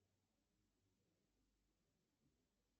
перевод для тети нади